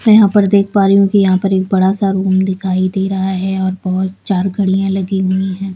मैं यहां पर देख पा रही हूं कि यहां पर एक बड़ा सा रूम दिखाई दे रहा है और बहुत चार गाड़ियां लगी हुई है।